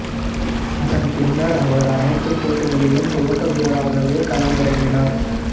அதன் பின்னர் அவர் அனைத்துப் போட்டிகளிலும் துவக்க வீரராகவே களம் இறங்கினார்